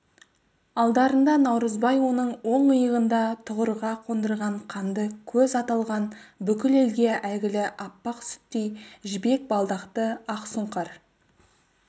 алдарында наурызбай оның оң иығында тұғырға қондырған қанды көз аталған бүкіл елге әйгілі аппақ сүттей жібек балдақты ақсұңқар